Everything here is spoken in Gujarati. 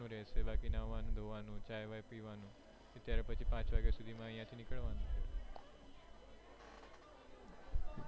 બાકી નાવાનું ધોવાનું ચાય બાય પીવાનું ત્યારે પછી પાંચ વાગે અહિયાં થી નીકળવાનું